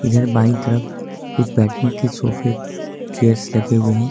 इधर बाई तरफ कुछ बैठने के सोफे और चेयर्स लगे हुए हैं।